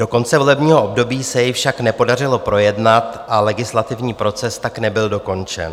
Do konce volebního období se jej však nepodařilo projednat a legislativní proces tak nebyl dokončen.